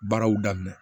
Baaraw daminɛ